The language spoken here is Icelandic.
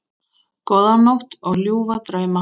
Góða nótt og ljúfa drauma.